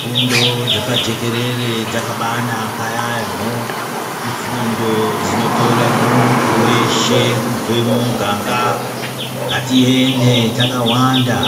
Fundo dzepajekerere dzakabanaka yambo, ifundo dzinotore muntu weshe kubva muganga ngatiende takawanda